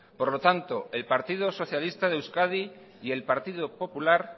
por lo tanto el partido socialista de euskadi y el partido popular